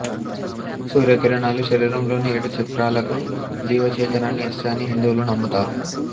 సూర్యకిరణాలు శరీరంలోని ఏడు చక్రాలకు జీవచేతనాన్ని ఇస్తాయని హిందువులు నమ్ముతారు